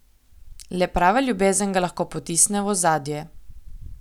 Le prava ljubezen ga lahko potisne v ozadje.